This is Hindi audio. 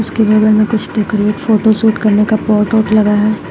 के बगल मे कुछ डेकोरेट फोटो शूट करने का पॉट ओट लगा है।